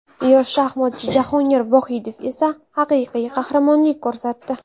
Yosh shaxmatchi Jahongir Vohidov esa haqiqiy qahramonlik ko‘rsatdi.